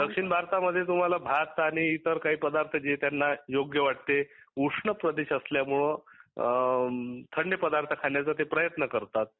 दक्षिण भारतामध्ये तुम्हाला भात आणि इतर काही पदार्थ जे त्यांना योग्य वाटते उष्ण प्रदेश असल्यामुळे थंड पदार्थ खाण्याचा प्रयत्न करतात